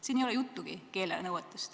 Siin ei ole juttugi keelenõuetest.